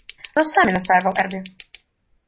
он сами настаивал эрби